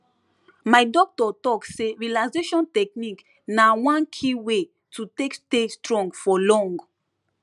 my doctor talk say relaxation technique na one key way to take stay strong for long